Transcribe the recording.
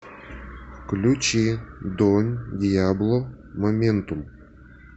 включи дон диабло моментум